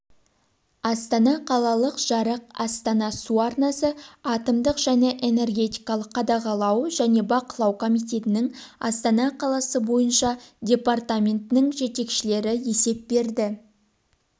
астана қалалық жарық астана су арнасы атомдық және энергетикалық қадағалау және бақылау комитетінің астана қаласы бойынша департаментінің жетекшілері есеп берді